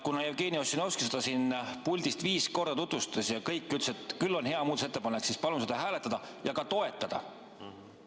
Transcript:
Kuna Jevgeni Ossinovski seda siit puldist viis korda tutvustas ja kõik ütlesid, et küll on hea muudatusettepanek, siis palun seda hääletada ja ka toetada!